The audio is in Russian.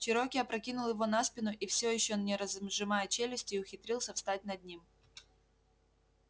чероки опрокинул его на спину и всё ещё не разжимая челюстей ухитрился встать над ним